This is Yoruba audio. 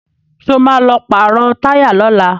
Sọ ma lọ pàrọ̀ táyà lọ́la?